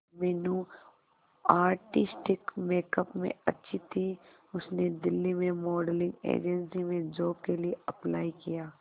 Meenu artistic makeup में अच्छी थी उसने दिल्ली में मॉडलिंग एजेंसी में जॉब के लिए अप्लाई किया